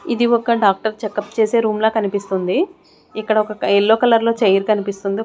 ఇది ఒక doctor checkup చేసే రూమ్ లా కనిపిస్తుంది ఇక్కడ ఒక ఎల్లో కలర్ లో చైర్ కనిపిస్తుంది.